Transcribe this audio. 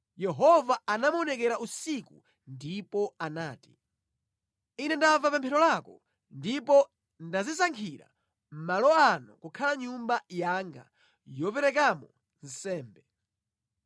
Yehova anamuonekera usiku ndipo anati: “Ine ndamva pemphero lako ndipo ndadzisankhira malo ano kukhala Nyumba yanga yoperekeramo nsembe.